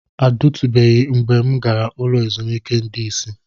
Ọ dịtụbeghị mgbe m gara ụlọ ezumike ndị isi.